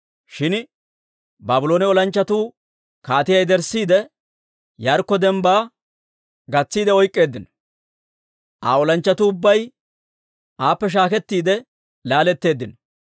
shin Baabloone olanchchatuu kaatiyaa yederssiide, Yaarikko dembbaa gatsiidde oyk'k'eeddino. Aa olanchchatuu ubbay aappe shaakettiide laaletteeddino.